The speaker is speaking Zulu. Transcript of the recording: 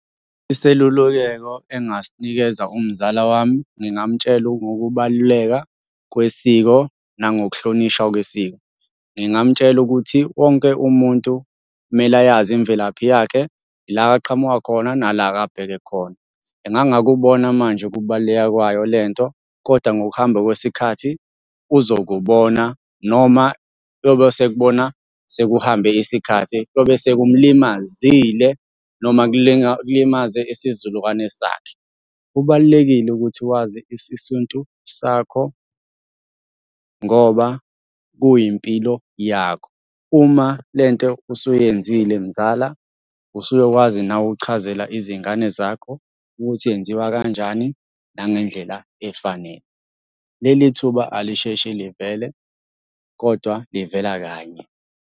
Iselululeko engingasinikeza umzala wami, ngingamtshela ngokubaluleka kwesiko nangokuhlonishwa kwesiko. ngingamutshela ukuthi wonke umuntu kumele ayazi imvelaphi yakhe, la aqhamuka khona, nala akabheke khona. Engangakubona manje ukubaluleka kwayo le nto, koda ngokuhamba kwesikhathi uzokubona noma yobe esekubona sekuhambe isikhathi, kuyobe sekumulimazile, noma kulimaze isizukulwane sakhe. Kubalulekile ukuthi wazi isintu sakho, ngoba kuyimpilo yakho. Uma le nto usuyenzile mzala, usuyokwazi nawe ukuchazela izingane zakho ukuthi yenziwa kanjani, nangendlela efanele. Leli thuba alisheshe livele, kodwa livela kanye.